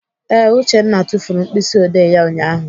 Ee, Uchenna tufuru mkpịsịodee ya ụnyaahụ.